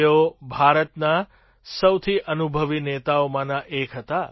તેઓ ભારતના સૌથી અનુભવી નેતાઓમાંના એક હતા